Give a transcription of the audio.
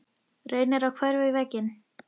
Reynir að hverfa inn í vegginn.